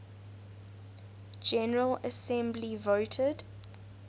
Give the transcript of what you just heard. general assembly voted